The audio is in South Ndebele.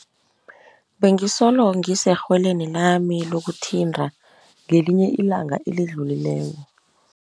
Bengisolo ngiserhweleni lami lokuthinta ngelinye ilanga elidlulileko.